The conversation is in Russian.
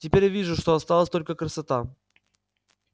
теперь я вижу что осталась только красота